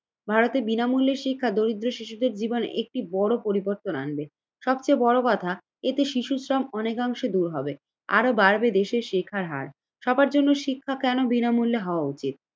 ভারতের বিনামূল্যে শিক্ষা দরিদ্র শিশুদের জীবনে একটি বড় পরিবর্তন আনবে। সবচেয়ে বড় কথা, এতে শিশুশ্রম অনেকাংশে দূর হবে আরো বাড়বে দেশের শিক্ষার হার। সবার জন্য শিক্ষা কেন বিনামূল্যে হওয়া উচিত?